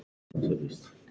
Porsinn er kominn.